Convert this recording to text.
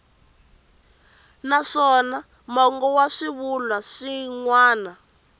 naswona mongo wa swivulwa swin